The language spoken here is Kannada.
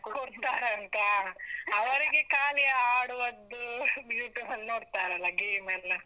ಕೊಡ್ತಾರಂತಾ, ಅವರಿಗೆ ಕಾಲಿ ಆಡುವದ್ದೂ, YouTube ಬದ್ದು ನೋಡ್ತಾರಲ್ಲ game ಎಲ್ಲ.